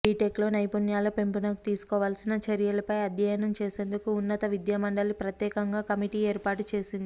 బీటెక్లో నైపుణ్యాల పెంపునకు తీసుకోవాల్సిన చర్యలపై అధ్యయనం చేసేందుకు ఉన్నత విద్యామండలి ప్రత్యేకంగా కమిటీ ఏర్పాటు చేసింది